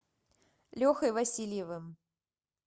лехой васильевым